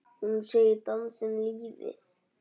Hún segir dansinn lífið.